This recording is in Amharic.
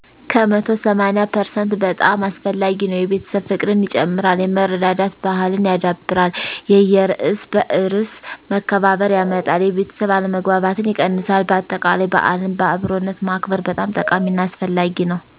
ከመቶ ሰማኒያ ፐርሰንት በጣም አስፈላጊ ነው። የቤተሰብ ፍቅርን ይጨምራል፣ የመረዳዳት ባሕልን ያዳብራል፣ የየእርስ በእርስ መከባበርን ያመጣል፣ የቤተሠብ አለመግባባትን ይቀንሳል በአጠቃላይ በዓልን በአብሮነት ማክበር በጣም ጠቃሚ እና አስፈላጊ ነው።